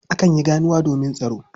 Akan yi ganuwa domin tsaro.